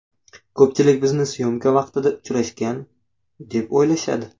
Ko‘pchilik bizni syomka vaqtida uchrashgan, deb o‘ylashadi.